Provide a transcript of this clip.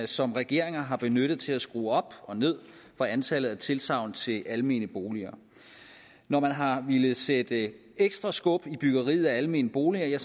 som regeringer har benyttet til at skrue op og ned for antallet af tilsagn til almene boliger når man har villet sætte ekstra skub i byggeriet af almene boliger